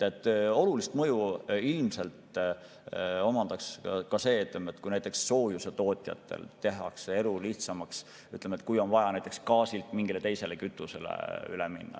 Olulist mõju ilmselt omaks ka see, kui soojusetootjatel tehtaks elu lihtsamaks, kui on vaja näiteks gaasilt mingile teisele kütusele üle minna.